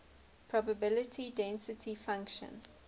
probability density function